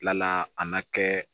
Kilala a ma kɛ